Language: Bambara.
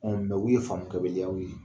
Ɔ u ye faamukɛbaliyaw ye